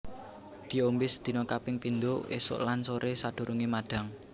Diombe sedina kaping pindho esuk lan sore sadurunge madhang